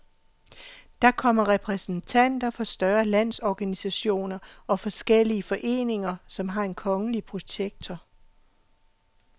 Der kommer repræsentanter for større landsorganisationer og forskellige foreninger, som har en kongelige protektor.